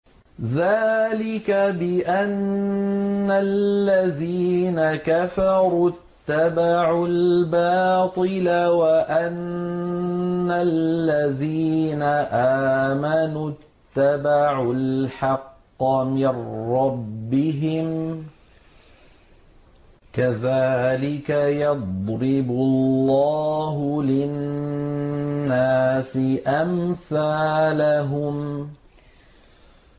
ذَٰلِكَ بِأَنَّ الَّذِينَ كَفَرُوا اتَّبَعُوا الْبَاطِلَ وَأَنَّ الَّذِينَ آمَنُوا اتَّبَعُوا الْحَقَّ مِن رَّبِّهِمْ ۚ كَذَٰلِكَ يَضْرِبُ اللَّهُ لِلنَّاسِ أَمْثَالَهُمْ